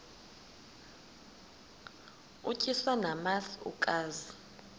utyiswa namasi ukaze